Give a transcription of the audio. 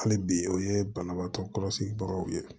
Hali bi o ye banabaatɔ kɔlɔsibagaw ye